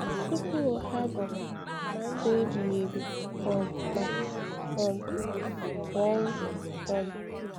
Tupu ha bụ ma ndụ ebighi ebi um ma um ọ bụ ọnwụ. um